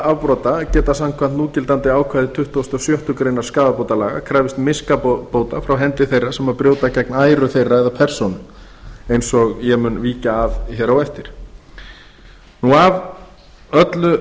afbrota geta samkvæmt núgildandi ákvæði tuttugasta og sjöttu greinar skaðabótalaga krafist miskabóta frá hendi þeirra sem brjóta gegn æru þeirra eða persónu eins og ég mun víkja að hér á eftir af öllu